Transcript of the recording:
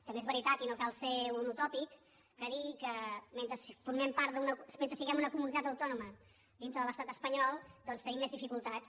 també és veritat i no cal ser un utòpic que dir que mentre si·guem una comunitat autònoma dintre de l’estat espa·nyol doncs tenim més dificultats